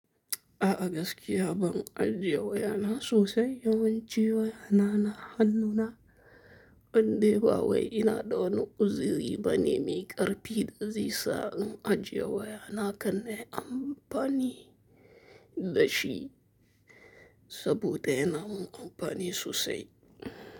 A'a gaskiya ban ajiye wayana sosai, yawanci wayana na hannuna, ban de ba wai ina dawani uziri bane me ƙarfi da zai sa in ajjiye wayana kanne amfani gashi sabuda yanamin anfani sosai.